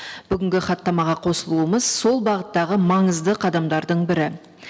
бүгінгі хаттамаға қосылуымыз сол бағыттағы маңызды қадамдардың бірі